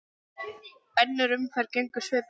Önnur umferð gengur svipað vel.